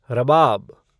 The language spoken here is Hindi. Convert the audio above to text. रबाब